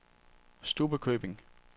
Stubbekøbing